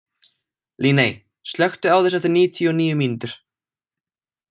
Líney, slökktu á þessu eftir níutíu og níu mínútur.